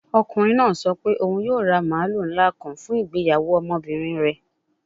Ọkunrin naa sọ pe oun yoo ra maalu nla kan fun igbeyawo ọmọbirin rẹ